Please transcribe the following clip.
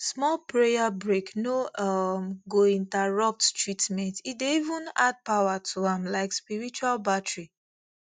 small prayer break no um go interrupt treatment e dey even add power to am like spiritual battery